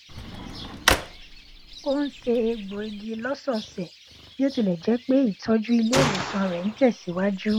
ó n se egbò igi lọsọọsẹ bí ó tilẹ jẹ pé ìtọjú ilé ìwòsàn rẹ n tẹsìwájú